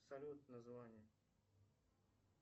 салют название